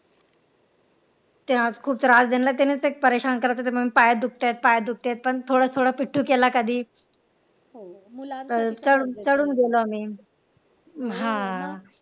त्या खुप त्रास दिला त्यांनी केला त्यांनी पाय दुखतायत पाय दुखतायत पण थोडं थोडं पिट्टू केला कधी तर चढून चढून गेलो आम्ही हा